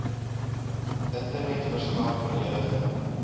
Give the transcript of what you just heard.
internet verskaf volledige